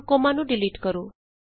ਹੁਣ ਕੋਮਾ ਨੂੰ ਡਿਲੀਟ ਕਰੋ